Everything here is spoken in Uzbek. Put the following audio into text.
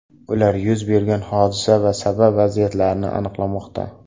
Ular yuz bergan hodisa sabab va vaziyatlarini aniqlamoqda.